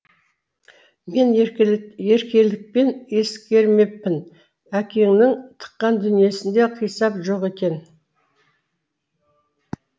мен еркелікпен ескермеппін әкеңнің тыққан дүниесінде қисап жоқ екен